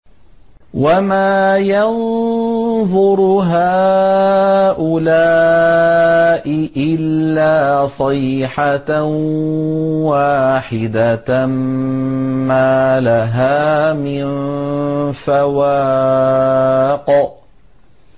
وَمَا يَنظُرُ هَٰؤُلَاءِ إِلَّا صَيْحَةً وَاحِدَةً مَّا لَهَا مِن فَوَاقٍ